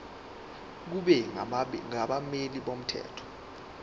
kube nabameli bomthetho